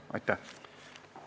Aitäh!